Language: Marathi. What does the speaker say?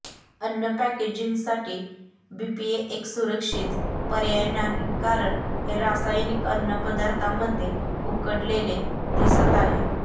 अन्न पॅकेजिंगसाठी बीपीए एक सुरक्षित पर्याय नाही कारण हे रासायनिक अन्नपदार्थांमध्ये उकडलेले दिसत आहे